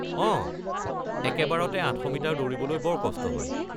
অঁ, একেবাৰতে ৮০০ মিটাৰ দৌৰিবলৈ বৰ কষ্ট হয়।